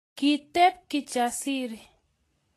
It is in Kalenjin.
Kiteb Kijasiri